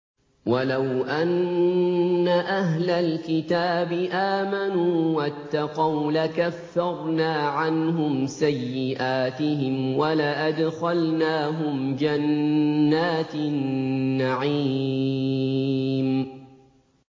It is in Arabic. وَلَوْ أَنَّ أَهْلَ الْكِتَابِ آمَنُوا وَاتَّقَوْا لَكَفَّرْنَا عَنْهُمْ سَيِّئَاتِهِمْ وَلَأَدْخَلْنَاهُمْ جَنَّاتِ النَّعِيمِ